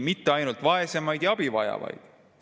Mitte ainult vaesemaid ja abi vajajaid.